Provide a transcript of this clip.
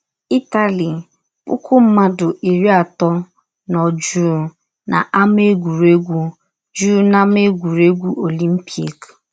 Ịtali “ Pụkụ mmadụ iri atọ nọ jụụ n’Ámá Egwụregwụ jụụ n’Ámá Egwụregwụ Ọlimpịk...